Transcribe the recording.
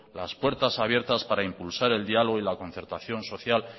las puertas abiertas para impulsar el diálogo y la concertación social